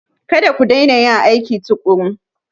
Kada ku daina yin aiki tuƙuru!